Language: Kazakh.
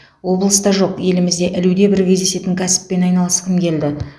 облыста жоқ елімізде ілуде бір кездесетін кәсіппен айналысқым келді